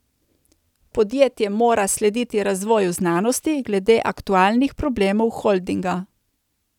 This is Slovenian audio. Podjetje mora slediti razvoju znanosti glede aktualnih problemov holdinga.